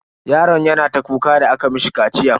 Yaron yana ta kuka da aka mishi kaciyan.